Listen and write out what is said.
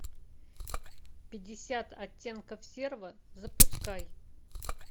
пятьдесят оттенков серого запускай